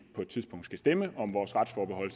på et tidspunkt skal stemme om vores retsforbehold